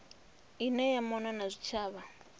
ine ya mona na zwitshavha